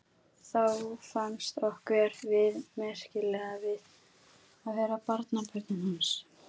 Þá fannst okkur við merkileg að vera barnabörnin hans.